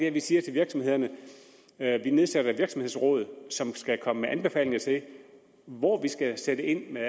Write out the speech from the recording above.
at vi siger til virksomhederne at vi nedsætter et virksomhedsråd som skal komme med anbefalinger til hvor vi skal sætte ind med